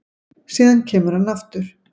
Síðan kemur hann aftur